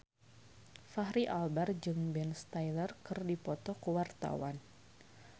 Fachri Albar jeung Ben Stiller keur dipoto ku wartawan